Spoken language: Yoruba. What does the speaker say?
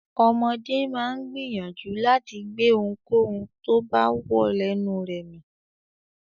Ọmọdé máa ń gbìyànjú láti gbé ohunkóhun tó bá wọ lẹnu rẹ̀ mì.